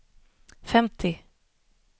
femtio